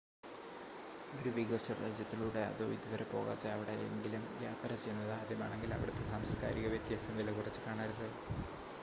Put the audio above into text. ഒരു വികസ്വര രാജ്യത്തിലൂടെ അതോ ഇതുവരെ പോകാത്ത എവിടെ എങ്കിലും യാത്ര ചെയ്യുന്നത് ആദ്യമാണെങ്കിൽ അവിടുത്തെ സാംസ്കാരിക വ്യത്യാസം വിലകുറച്ച് കാണരുത്